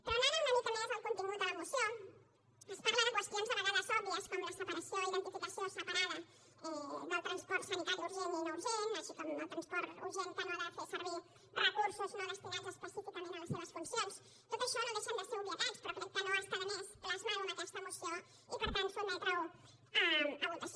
però anant una mica més al contingut de la moció es parla de qüestions de vegades òbvies com la separació identificació separada del transport sanitari urgent i no urgent com també el transport urgent que no ha de fer servir recursos no destinats específicament a les seves funcions tot això no deixen de ser obvietats però crec que no està de més plasmar ho en aquesta moció i per tant sotmetre ho a votació